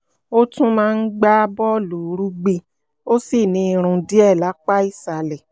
ó tún máa ń gbá bọ́ọ̀lù rugby ó sì ní irun díẹ̀ lápá ìsàlẹ̀